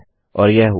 और यह हुआ